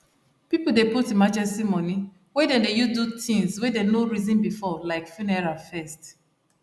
people dey put emergency money wey them dey use do things wey them no reason before like funeral first